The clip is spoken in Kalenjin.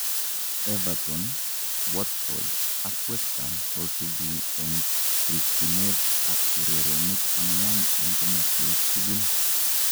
Everton, Watford, ak West Ham kosubu en rikyinet ak urerenik angwan en komaswek tukul .